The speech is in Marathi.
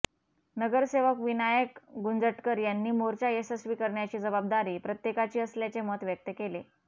नगरसेवक विनायक गुंजटकर यांनी मोर्चा यशस्वी करण्याची जबाबदारी प्रत्येकाची असल्याचे मत व्यक्त केले